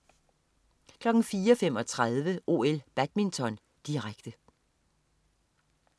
04.35 OL: Badminton, direkte